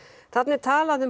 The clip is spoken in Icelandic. þarna er talað um